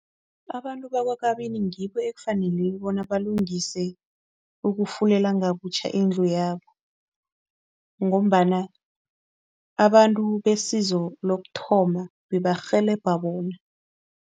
Abantu bakwaKabini ngibo ekufanele bona balungise ukufulela ngabutjha indlu yabo ngombana abantu besizo lokuthoma bebarhelebha bona.